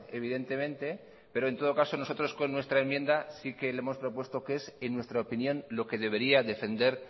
evidentemente pero en todo caso nosotros con nuestra enmienda sí que le hemos propuesto qué es en nuestra opinión lo que debería defender